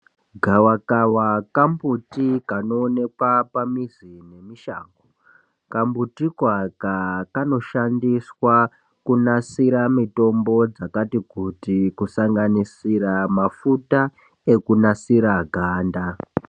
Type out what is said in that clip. Gawakawa kambuti kanoonekwa pamuzi nemushango, kambutiko aka kanoshandiswa kunasira mitombo dzakati kuti kusanganisira mafuta ekunasira ganda.